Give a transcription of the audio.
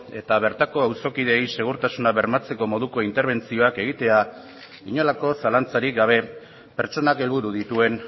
eta bertako auzokideei segurtasuna bermatzeko moduko interbentzioak egitea inolako zalantzarik gabe pertsonak helburu dituen